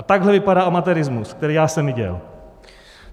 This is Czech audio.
A takhle vypadá amatérismus, který já jsem viděl.